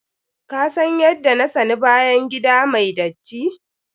Ka san yadda na sani bayan gida mai datti.